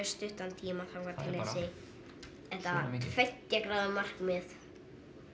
stuttan tíma þangað til að þetta tveggja gráðu markmið